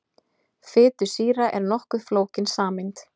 Fitusýra er nokkuð flókin sameind.